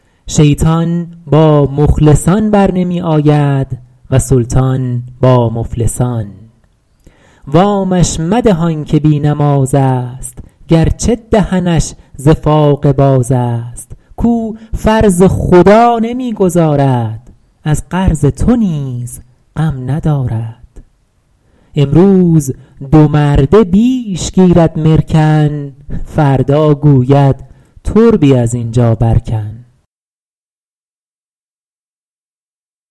شیطان با مخلصان برنمی آید و سلطان با مفلسان وامش مده آن که بی نماز است گرچه دهنش ز فاقه باز است کاو فرض خدا نمی گزارد از قرض تو نیز غم ندارد امروز دو مرده بیش گیرد مرکن فردا گوید تربی از اینجا بر کن